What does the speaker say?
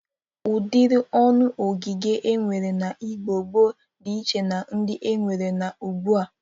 Ụdịrị ọnụ ogige e nwere n'Igbo gboo dị iche na ndị e nwere n'ugbu a.